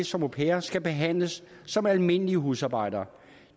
som au pairer skal behandles som almindelige husarbejdere